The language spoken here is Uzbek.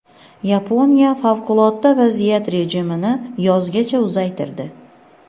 Yaponiya favqulodda vaziyat rejimini yozgacha uzaytirdi.